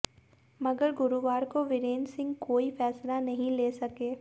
मगर गुरुवार को वीरेंद्र सिंह कोई फैसला नही ले सके